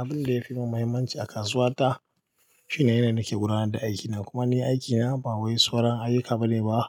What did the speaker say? Abin da yafi min mahimmanci a kasuwa ta, shine yanda nake gudanar da aikina kuma ni aikina ba wai sauran ayyuka bane ba,